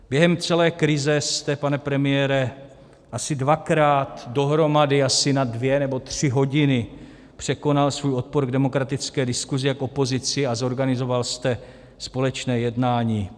Během celé krize jste, pane premiére, asi dvakrát dohromady asi na dvě nebo tři hodiny překonal svůj odpor k demokratické diskusi a opozici a zorganizoval jste společné jednání.